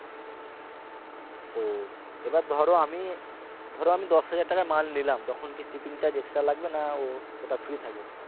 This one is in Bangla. ও এবার ধরো আমি ধরো আমি দশ হাজার টাকার মাল নিলাম তখন কি shipping charge extra লাগবে না ওটা free থাকবে